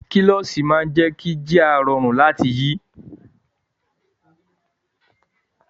Kílọ́ṣì máa jé kí jíà rọrùn láti rí.